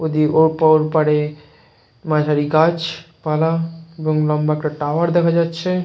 নদীর ও পর পারে মাঝারি গাছ পালা এবং লম্বা একটা টাওয়ার দেখা যাচ্ছে।